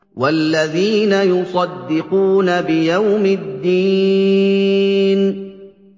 وَالَّذِينَ يُصَدِّقُونَ بِيَوْمِ الدِّينِ